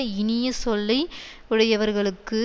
இனிய சொல்லை யுடையவர்களுக்கு